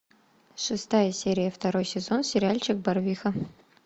шестая серия второй сезон сериальчик барвиха